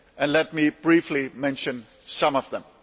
Let me briefly mention some of them.